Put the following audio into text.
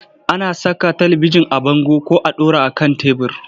Ana saka talibijin a bango ko a ɗora a kan tebur.